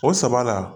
O saba la